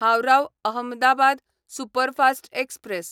Howrah Ahmedabad superfast express